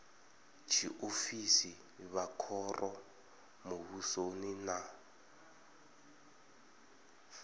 tshiofisi vha khoro muvhusoni na